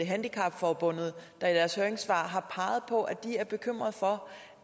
handicap forbund der i deres høringssvar har peget på at de er bekymrede for